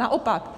Naopak,